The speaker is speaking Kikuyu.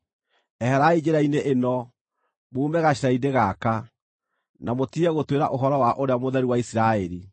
Eherai njĩra-inĩ ĩno, muume gacĩra-inĩ gaka, na mũtige gũtwĩra ũhoro wa Ũrĩa Mũtheru wa Isiraeli!”